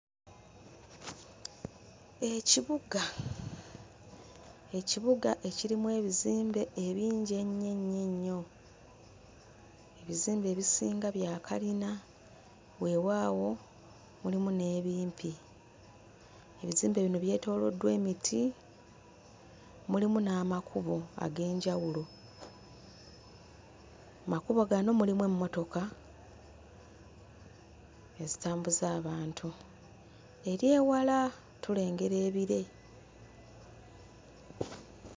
Ekibuga, ekibuga ekirimu ebizimbe ebingi ennyo ennyo ennyo; ebizimbe ebisinga bya kalina weewaawo mulimu n'ebimpi. Ebizimbe bino byetooloddwa emiti, mulimu n'amakubo ag'enjawulo. Mu makubo gano mulimu emmotoka ezitambuza abantu, eri ewala tulengera ebire.